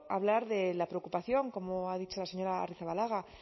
hablar de la preocupación como ha dicho la señora arrizabalaga